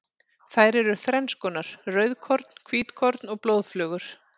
Þær eru þrennskonar, rauðkorn, hvítkorn og blóðflögur.